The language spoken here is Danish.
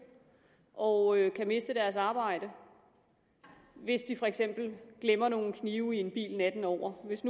og kan miste deres arbejde hvis de for eksempel glemmer nogle knive i en bil natten over hvis